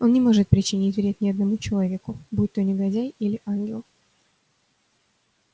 он не может причинить вред ни одному человеку будь то негодяй или ангел